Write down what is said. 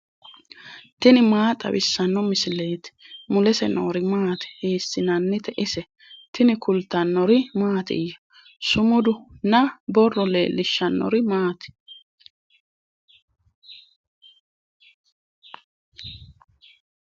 tini maa xawissanno misileeti ? mulese noori maati ? hiissinannite ise ? tini kultannori mattiya? Sumudu nna borro leelishshannori maati?